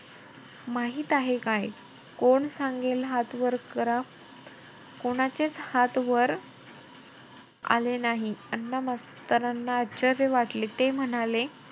माहित आहे काय? कोण सांगेल हात वर करा. कोणाचेचं हात वर आले नाही. अण्णा मास्तरांना आश्चर्य वाटले. ते म्हणाले,